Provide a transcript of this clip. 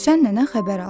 Süsən nənə xəbər aldı.